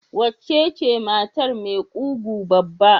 Waccen ce matar mai ƙugu babba?